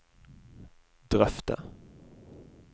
drøfte